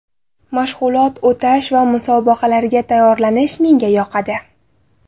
Mashg‘ulot o‘tash va musobaqalarga tayyorlanish menga yoqadi.